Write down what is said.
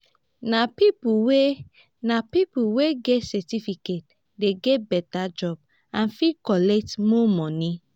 nah people wey nah people wey get certificate dey get beta job and fit collect more money.